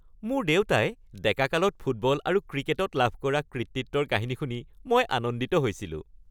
মোৰ দেউতাই ডেকাকালত ফুটবল আৰু ক্ৰিকেটত লাভ কৰা কৃতিত্বৰ কাহিনী শুনি মই আনন্দিত হৈছিলোঁ।